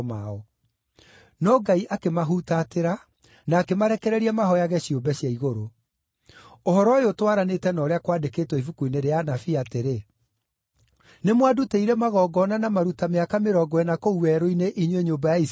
No Ngai akĩmahutatĩra, na akĩmarekereria mahooyage ciũmbe cia igũrũ. Ũhoro ũyũ ũtwaranĩte na ũrĩa kwandĩkĩtwo ibuku-inĩ rĩa anabii, atĩrĩ: “ ‘Nĩmwandutĩire magongona na maruta mĩaka mĩrongo ĩna kũu werũ-inĩ, inyuĩ nyũmba ya Isiraeli?